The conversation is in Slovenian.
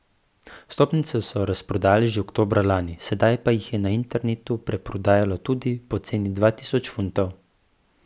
Vstopnice so razprodali že oktobra lani, sedaj pa jih na internetu preprodajajo tudi po ceni dva tisoč funtov.